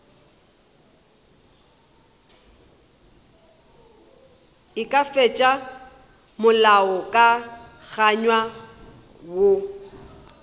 e ka fetiša molaokakanywa woo